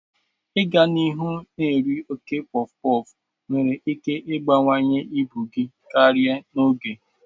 Ịga n'ihu na-eri oke pọfụpọfụ nwere ike ịbawanye ibu gị karịa n'oge.